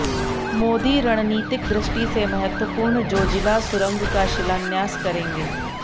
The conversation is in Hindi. मोदी रणनीतिक दृष्टि से महत्वपूर्ण जोजिला सुरंग का शिलान्यास करेंगे